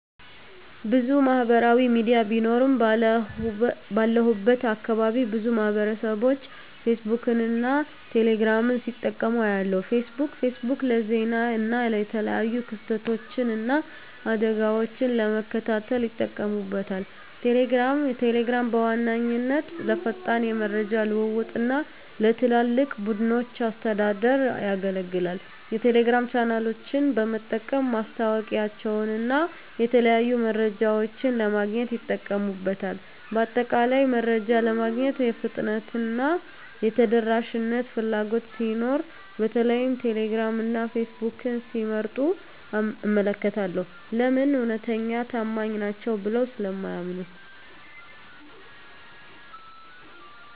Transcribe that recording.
**ብዙ ማህበራዊ ሚዲያ ቢኖሩም፦ ባለሁበት አካባቢ ብዙ ማህበረሰብቦች ፌስቡክን እና ቴሌ ግራምን ሲጠቀሙ አያለሁ፤ * ፌስቡክ: ፌስቡክ ለዜና እና የተለያዩ ክስተቶችን እና አደጋወችን ለመከታተል ይጠቀሙበታል። * ቴሌግራም: ቴሌግራም በዋነኛነት ለፈጣን የመረጃ ልውውጥ እና ለትላልቅ ቡድኖች አስተዳደር ያገለግላል። የቴሌግራም ቻናሎችን በመጠቀም ማስታወቂያወችንና የተለያዩ መረጃዎችን ለማግኘት ይጠቀሙበታል። በአጠቃላይ፣ መረጃ ለማግኘት የፍጥነትና የተደራሽነት ፍላጎት ሲኖር በተለይም ቴሌግራም እና ፌስቡክን ሲመርጡ እመለከታለሁ። *ለምን? እውነተኛና ታማኝ ናቸው ብለው ስለሚያምኑ።